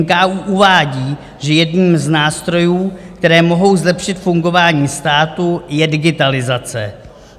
NKÚ uvádí, že jedním z nástrojů, které mohou zlepšit fungování státu, je digitalizace.